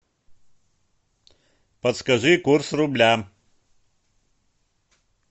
подскажи курс рубля